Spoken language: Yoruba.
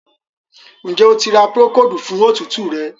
Njé O tí ra Procold fún òtútù rẹ.?